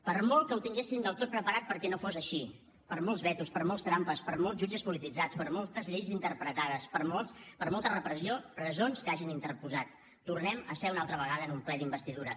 per molt que ho tinguessin del tot preparat perquè no fos així per molts vetos per moltes trampes per molts jutges polititzats per moltes lleis interpretades per molta repressió presons que hagin interposat tornem a ser una altra vegada en un ple d’investidura